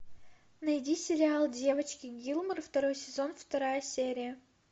найди сериал девочки гилмор второй сезон вторая серия